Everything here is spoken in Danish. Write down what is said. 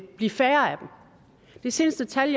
blive færre det seneste tal